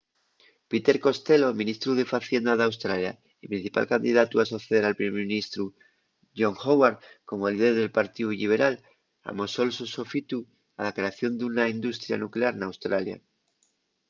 peter costello ministru de facienda d’australia y principal candidatu a soceder al primer ministru john howard como líder del partíu lliberal amosó’l so sofitu a la creación d’una industria nuclear n’australia